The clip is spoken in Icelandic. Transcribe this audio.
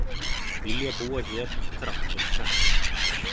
Vilja búa hér þrátt fyrir kreppu